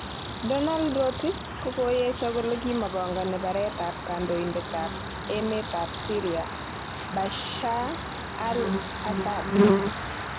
Donald Rotich kokoyesho kole kimopogoni baret ab kondoidet ab emet tab Syria Bashar al asaad.